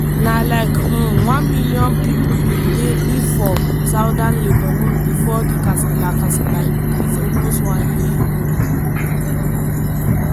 na like um one million pipo bin dey live for southern lebanon bifor di kasala kasala increase almost one year ago.